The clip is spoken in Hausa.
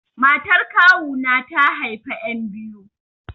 Matar kawu na ta haifa yan biyu.